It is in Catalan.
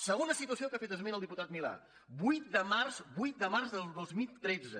segona situació a què ha fet esment el diputat milà vuit de març vuit de març del dos mil tretze